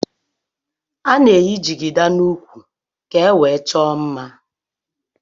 Ana eyi jigida na úkwú ka ewee chọọ mmá.